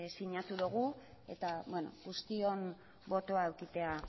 sinatu dugu eta guztion botoa edukitea